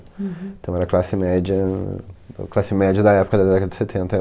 Então era classe média, classe média da época, da década de setenta